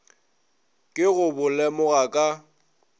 ke go bo lemoga ka